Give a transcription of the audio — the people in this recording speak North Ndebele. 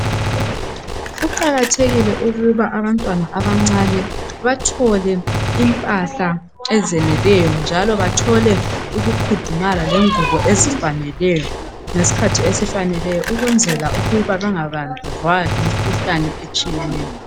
Kuqakathekile ukuba abantwana abancane bathole impahla ezeneleyo njalo ukukhudumala lengubo ezifaneleyo ngesikhathi esifaneleyo ukuze bengabanjwa yimikhuhlane etshiyeneyo.